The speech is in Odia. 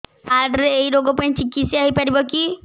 କାର୍ଡ ରେ ଏଇ ରୋଗ ପାଇଁ ଚିକିତ୍ସା ହେଇପାରିବ କି